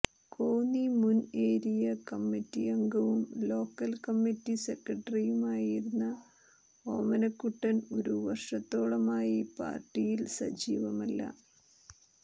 കോന്നി മുൻ area committee അംഗവും local committee സെക്രട്ടറിയും ആയിരുന്ന ഓമനക്കുട്ടൻ ഒരു വർഷത്തോളമായി പാർട്ടിയിൽ സജീവമല്ല